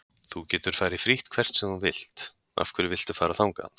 Þú getur farið frítt hvert sem þú vilt, af hverju viltu fara þangað?